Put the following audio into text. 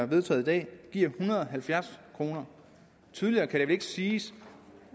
vedtaget i dag giver en hundrede og halvfjerds kroner tydeligere kan det vel ikke siges